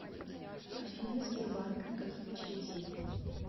афина сбербанк никаких очередей